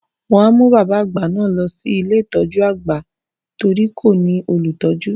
Wọ́n á mú bàbá àgbà náà lọ sí ilé ìtọ́jú àgbà torí kò ní olùtọ́jú.